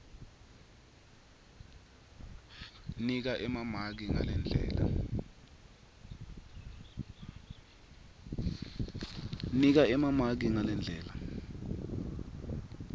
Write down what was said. nika emamaki ngalendlela